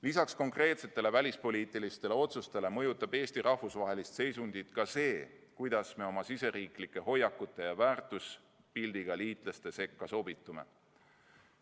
Lisaks konkreetsetele välispoliitilistele otsustele mõjutab Eesti rahvusvahelist seisundit ka see, kuidas me oma riigisiseste hoiakute ja väärtuspildiga liitlaste sekka sobitume.